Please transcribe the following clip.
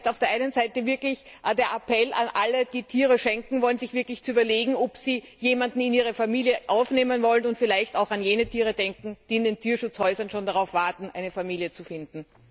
Das heißt auf der einen Seite, der Appell an alle, die Tiere schenken wollen, sich wirklich zu überlegen, ob sie jemanden in ihre Familie aufnehmen wollen, und vielleicht auch an jene Tiere zu denken, die in den Tierschutzhäusern schon darauf warten, eine Familie zu finden!